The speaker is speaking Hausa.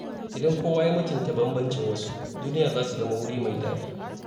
Idan kowa ya mutunta bambancin wasu, duniya za ta zama wuri mai daɗi.